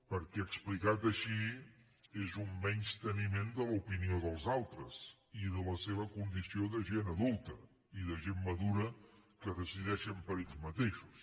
perquè explicat així és un menysteniment de l’opinió dels altres i de la seva condició de gent adulta i de gent madura que decideix per ella mateixa